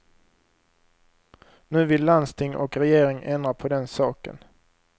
Nu vill landsting och regering ändra på den saken.